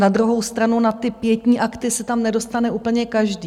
Na druhou stranu na ty pietní akty se tam nedostane úplně každý.